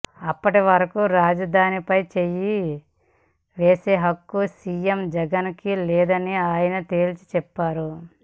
అప్పటి వరకు రాజదానిపై చేయి వేసే హక్కు సీఎం జగన్ కి లేదని ఆయన తేల్చి చెప్పారు